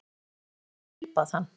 Ég var lík föður mínum og tilbað hann.